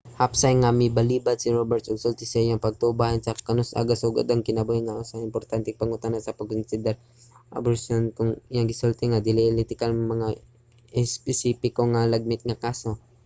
hapsay nga milbalibad si roberts og sulti sa iyang pagtuo bahin sa kon kanus-a gasugod ang kinabuhi nga usa ka importanteng pangutana sa pagkonsiderar sa etika sa aborsiyon ug kon asa iyang gisulti nga dili etikal nga mokomento sa mga espesipiko sa mga lagmit nga kaso